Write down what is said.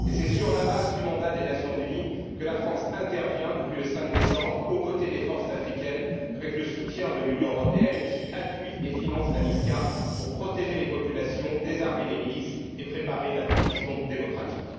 Et c'est sur la base du mandat des Nations unies que la France intervient, depuis le 5 décembre, aux côtés des forces africaines, avec le soutien de l'Union européenne, qui appuie et finance la MISCA, pour protéger les populations, désarmer les milices et préparer la transition démocratique.